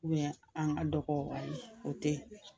an ka dɔgɔ ayi ,o tɛ.